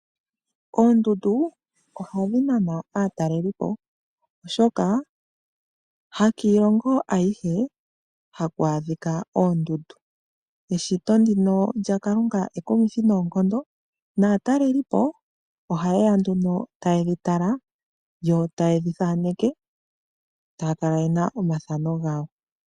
Oondundu ohadhi nana aatalelipo, oshoka hakiilongo ayihe haku adhika oondundu. Eshito lyaKalunga ekumithi noonkondo naatalelipo ohaye ya nduno taye dhi tala yo taye dhi thaneke taya kala ye na omathano gawo.